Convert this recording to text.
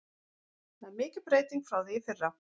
Það er mikil breyting frá því í fyrra.